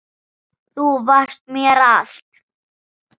Þú varst mér allt.